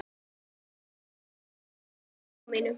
Ég lít yfir afmælið í huganum.